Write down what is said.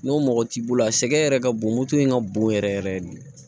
N'o mɔgɔ t'i bolo a sɛgɛn yɛrɛ ka bon moto in ka bon yɛrɛ yɛrɛ yɛrɛ de